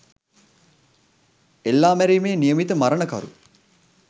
එල්ලා මැරීමේ නියමිත මරණකරු